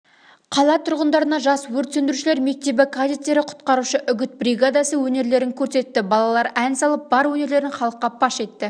қала тұрғындарына жас өрт сөндірушілер мектебі кадеттері құтқарушы үгіт бригадасы өнерлерін көрсетті балалар ән салып бар өнерлерін халыққа паш етті